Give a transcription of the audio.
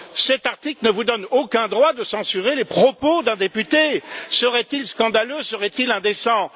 cet article ne vous donne aucun droit de censurer les propos d'un député, seraient ils scandaleux, seraient ils indécents.